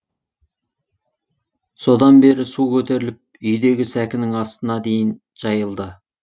содан бері су көтеріліп үйдегі сәкінің астына дейін жайылды